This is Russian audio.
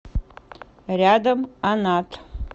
рядом анат